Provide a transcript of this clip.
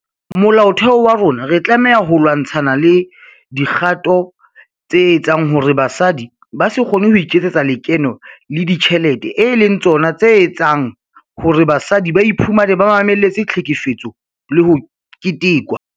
Molaotheo wa rona re tlameha ho lwa-ntshana le dikgato tse etsang hore basadi ba se kgone ho iketsetsa lekeno le dijthelete e leng tsona etseng hore basadi ba iphumane ba mamelletse tlhekefetso ho ketekwa.